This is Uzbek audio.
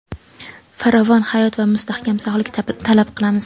farovon hayot va mustahkam sog‘lik tilab qolamiz!.